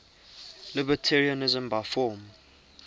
libertarianism by form